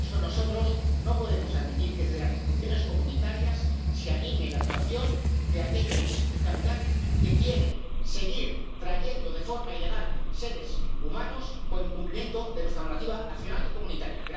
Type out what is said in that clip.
Y, por eso, nosotros no podemos admitir que, desde las instituciones comunitarias, se anime la actuación de aquellos capitanes que quieren seguir trayendo de forma ilegal seres humanos con incumplimiento de nuestra normativa nacional y comunitaria.